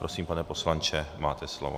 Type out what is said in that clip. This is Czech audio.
Prosím, pane poslanče, máte slovo.